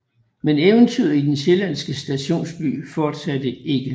Men eventyret i den sjællandske stationsby fortsatte ikke